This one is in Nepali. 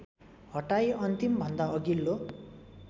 हटाई अन्तिमभन्दा अघिल्लो